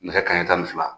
Nɛgɛ kanɲɛ tan ni fila